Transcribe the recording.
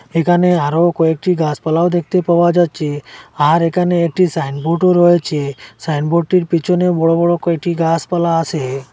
এখানে আরও কয়েকটি গাসপালাও দেখতে পাওয়া যাচ্চে আর এখানে একটি সাইনবোর্ডও রয়েচে সাইনবোর্ডটির পিছনে বড় বড় কয়টি গাসপালা আসে।